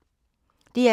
DR2